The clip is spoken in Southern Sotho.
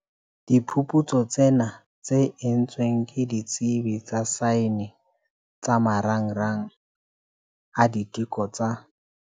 Diphuputsu tsena, tse entsweng ke ditsebi tsa saene tsa Marangrang a Diteko tsa.